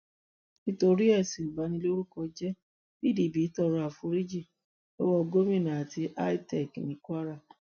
nítorí ẹsùn ìbanilórúkọjẹ́ pdp tọrọ àforíjì lọwọ gómìnà àti itec ní kwara